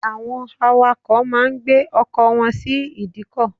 Àwọn awakọ̀ má a ń gbé ọkọ̀ wọn sí ìdíkọ̀